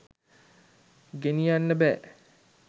ගෙනියන්න බෑ.